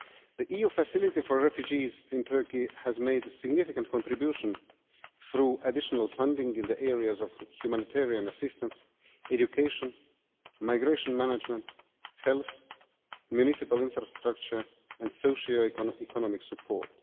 The EU Facility for Refugees in Turkey has made a significant contribution through additional funding in the areas of humanitarian assistance, education migration management, heath, municipal infrastructure and socio-economic support.